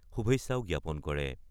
শুভেচ্ছাও জ্ঞাপন কৰে।